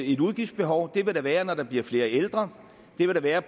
et udgiftsbehov det vil der være når der bliver flere ældre det vil der være